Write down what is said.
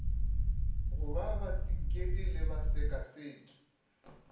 go ba batsinkedi le basekaseki